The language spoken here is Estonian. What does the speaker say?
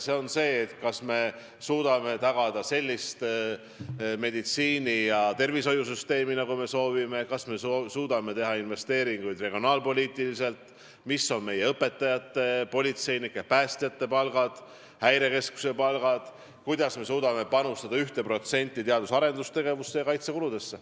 Ehk me peame vaatama, kas me suudame tagada sellist meditsiini- ja tervishoiusüsteemi, nagu me soovime, kas me suudame teha regionaalpoliitilisi investeeringuid, missugused on meie õpetajate, politseinike, päästjate ja häirekeskuse töötajate palgad ning kuidas me suudame panustada 1% teadus-arendustegevusse ja kaitsekuludesse.